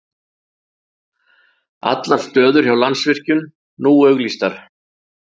Allar stöður hjá Landsvirkjun nú auglýstar